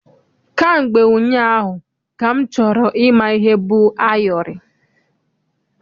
Kamgbe ụnyaahụ ka m chọrọ ịma ihe bụ ayọrị.